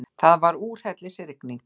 Það var úrhellisrigning.